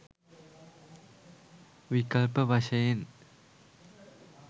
විකල්ප වශයෙන්